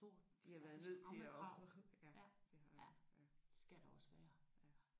De har været nødt til at ja det har de